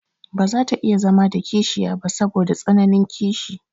Baza ta iya zama da kishiya ba saboda tsananin kishi.